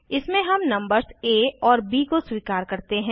इसमें हम नंबर्स आ और ब को स्वीकार करते हैं